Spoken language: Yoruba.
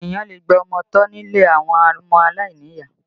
Ènìyàn lè gba ọmọ tọ́ nílé àwọn ọmọ aláìníyàá